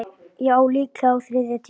Já, líklega á þriðja tíma.